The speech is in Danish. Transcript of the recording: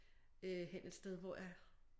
Øh hen et sted hvor jeg